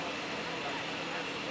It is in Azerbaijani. Düzdür, düzdür.